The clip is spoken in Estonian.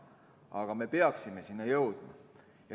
Aga me peaksime selleni jõudma.